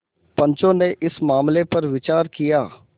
पंचो ने इस मामले पर विचार किया